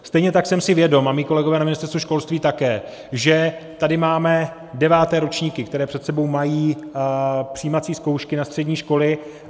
Stejně tak jsem si vědom a mí kolegové na Ministerstvu školství také, že tady máme deváté ročníky, které před sebou mají přijímací zkoušky na střední školy.